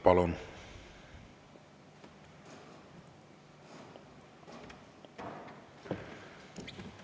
Palun!